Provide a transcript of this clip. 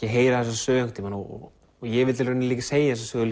að heyra þessa sögu einhvern tímann og ég vildi í rauninni líka segja þessa sögu